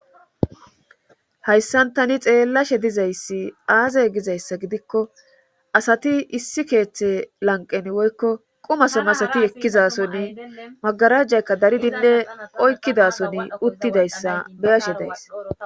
Hayssan tani xeellashshe dizayssi aazay gizayssa gidikko asati issi keeththe lanqen woykko qumasem asati ekkizasonni magarajjaykka daridinne oykkidason uttidayssa beyashe days